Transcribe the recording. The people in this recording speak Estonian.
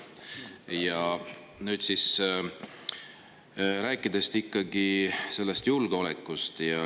Aga nüüd tahaks rääkida ikkagi julgeolekust.